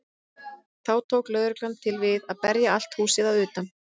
Þá tók lögreglan til við að berja allt húsið að utan.